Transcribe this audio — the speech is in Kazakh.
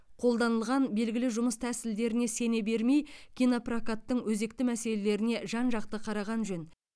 қолданылған белгілі жұмыс тәсілдеріне сене бермей кинопрокаттың өзекті мәселелеріне жан жақты қараған жөн